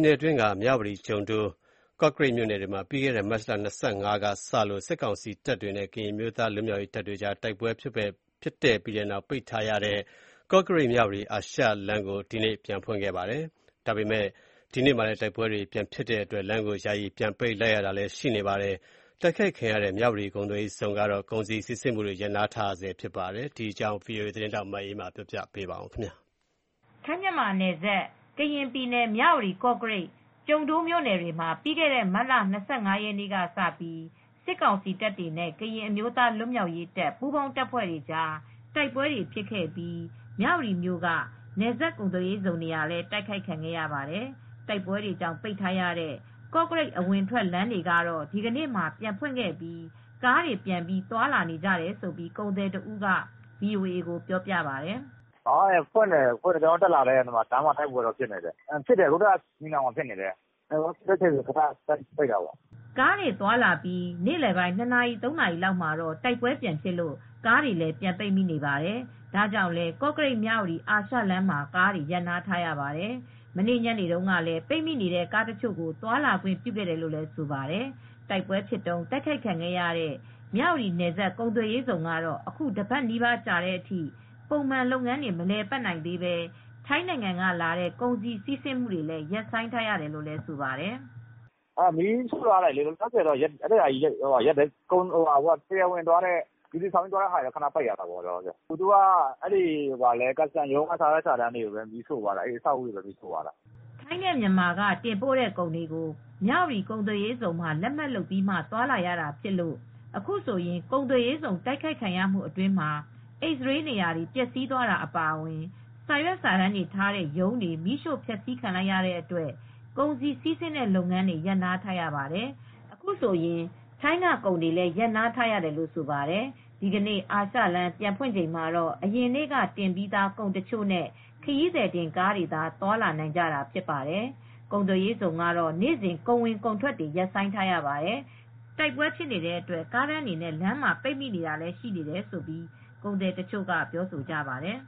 နယ်အတွင်းက မြဝတီ၊ ကျုံဒိုး၊ ကော့ကရိတ်မြို့နယ်တွေမှာ ပြီးခဲ့တဲ့ မတ်လ ၂၅ ရက်နေ့ကစလို့ စစ်ကောင်စီတပ်တွေနဲ့ ကရင်အမျိုးသား လွတ်မြောက်ရေးတပ်တွေကြား တိုက်ပွဲဖြစ်ပြီးတဲ့နောက် ပိတ်ထားရတဲ့ ကော့ကရိတ်−မြဝတီ အာရှလမ်းကို ဒီနေ့ မတ်လ ၃၀ရက်နေ့မှာ ပြန်ဖွင့်ခဲ့ပါတယ်။ ဒီနေ့မှာလည်း တိုက်ပွဲတွေ ပြန်ဖြစ်တဲ့အတွက် လမ်းကိုယာယီပြန်ပိတ်လိုက်ရတဲ့ အခြေအနေတွေလည်း ရှိနေပါတယ်။ တိုက်ခိုက်ခံရတဲ့ မြဝတီကုန်သွယ်ရေးဇုန်ကတော့ ကုန်စည်စီးဆင်းမှုလုပ်ငန်းတွေ ရပ်နားထားရဆဲ ဖြစ်ပါတယ်။ ဒီအကြောင်း ဗွီအိုအေ သတင်းထောက် မအေးအေးမာက သတင်းပေးပို့ထားပါတယ်။ ထိုင်း−မြန်မာနယ်စပ် ကရင်ပြည်နယ်၊ မြဝတီ၊ ကော့ကရိတ်၊ ကျုံဒိုးမြို့နယ်တွေမှာ ပြီးခဲ့တဲ့ မတ်လ ၂၅ရက် နေ့ကစပြီး စစ်ကောင်စီတပ်တွေနဲ့ ကရင်အမျိုးသားလွတ်မြောက်ရေး တပ်ပူးပေါင်းတပ်ဖွဲ့တွေကြား တိုက်ပွဲတွေဖြစ်ခဲ့ပြီး မြဝတီမြို့က နယ်စပ် ကုန်သွယ်ရေးဇုန် နေရာလည်း တိုက်ခိုက်ခံခဲ့ရပါတယ်။ တိုက်ပွဲတွေကြောင့် ပိတ်ထားရတဲ့ ကော့ကရိတ် အဝင်အထွက်လမ်းတွေကတော့ ဒီကနေ့မှာ ပြန်ဖွင့်ခဲ့ပြီး ကားတွေပြန်ပြီး သွားလာကြတယ်လို့ ကုန်သည်တစ်ဦးက ဗွီအိုအေကို ပြောပြပါတယ်။ “လမ်းဖွင့်တယ်၊ ကျနော်တို့တက်လာတယ်။ အခုတော့ လမ်းမှာ တိုက်ပွဲတွေဖြစ်နေတယ်။ ညီနောင်ဘက်မှာ ဖြစ်နေတယ်။ တိုက်ပွဲဖြစ်ချိန်တော့ သူတို့ကတော့ ခဏပိတ်ထားတာပေါ့။” ကားတွေသွားလာပြီး နေ့လည်ပိုင်း ၂ နာရီ၊ ၃ နာရီလောက်မှာတော့ တိုက်ပွဲပြန်ဖြစ်လို့ ကားတွေ ပြန်ပိတ်မိနေပါတယ်။ ဒါကြောင့်လည်း ကော့ကရိတ်−မြဝတီ အာရှလမ်းမှာ ကားတွေ ရပ်ထားရပါတယ်။ မနေ့ညနေတုန်းကလည်း ပိတ်မိနေတဲ့ ကားတချို့ကို သွားလာခွင့် ပြုခဲ့တယ်လို့ဆိုပါတယ်။ တိုက်ပွဲဖြစ်တုန်း တိုက်ခိုက်ခံရတဲ့ မြဝတီ နယ်စပ် ကုန်သွယ်ရေးဇုန်ကတော့ အခု တစ်ပတ်နီးပါးကြာတဲ့အထိ ပုံမှန်လုပ်ငန်းတွေ မလည်ပတ်သေးပဲ ထိုင်းနိုင်ငံကလာတဲ့ ကုန်စည်စီးဆင်းမူတွေလည်း ရပ်ဆိုင်းထားရတယ်လို့ ဆိုပါတယ်။ “မီးရှို့ထားတော့ တရားဝင် ဂျူတီဆောင်ပြီး သွားတာတွေကိုတော့ ခဏရပ်ထားတာပေါ့။ သူတို့ ကာစတန် (Custom) ရုံးက ပစ္စည်းတွေ၊ စာရွက် ရုံးကိုပဲ မီးရှို့သွားတာပေါ့။” ထိုင်းနဲ့မြန်မာက တင်ပို့တဲ့ကုန်တွေကို မြဝတီ ကုန်သွယ်ရေးဇုန်မှာ လက်မှတ်လုပ်ပြီးမှ သွားလာရတာဖြစ်လို့ အခုဆိုရင် ကုန်သွယ်ရေးဇုန် တိုက်ခိုက်ခံရမှုအတွင်းမှာ X−Ray နေရာတွေ ပျက်ဆီးသွားတာ အပါအဝင် စာရွက်စာတမ်းတွေထားတဲ့ ရုံးတွေ မီးရှို့ ဖျက်ဆီးခံလိုက်ရတဲ့အတွက် ကုန်စည် စီးဆင်းတဲ့လုပ်ငန်းတွေ ရပ်နားထားရပါတယ်။ ဒီကနေ့ အာရှလမ်း ပြန်ဖွင့်ချိန်မှာ အရင်နေ့ကတင်ပြီးသား ကုန်တချို့နဲ့ ခရီးသည်တင်ကားတွေသာ သွားလာနိုင်ကြတာ ဖြစ်ပါတယ်။ ကုန်သွယ်ရေးဇုန်ကတော့ နေ့စဉ် ကုန်ဝင် ကုန်ထွက်တော့ ရပ်ဆိုင်းထားရပါတယ်။ တိုက်ပွဲဖြစ်နေတဲ့အတွက် ကားတန်းတွေနဲ့ လမ်းမှာ ပိတ်မိနေတာတွေလည်း ရှိနေတယ်လို့ ကုန်သည်တချို့က ပြောဆိုကြပါတယ်